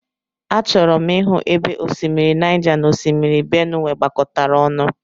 Achọrọ m ịhụ ebe osimiri Naija na Osimiri Benuwe gbakọtara ọnụ.